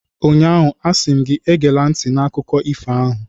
Ụnyaahụ, a sị m gị, egela ntị n'akụkọ ifo ahụ!